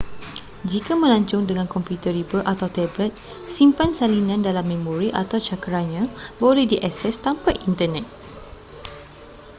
jika melancong dengan komputer riba atau tablet simpan salinan dalam memori atau cakeranya boleh diakses tanpa internet